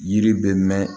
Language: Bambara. Yiri bɛ mɛn